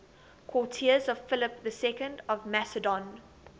courtiers of philip ii of macedon